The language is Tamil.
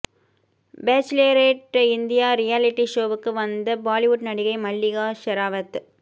பேச்லரேட் இந்தியா ரியாலிட்டி ஷோவுக்கு வந்த பாலிவுட் நடிகை மல்லிகா ஷெராவத்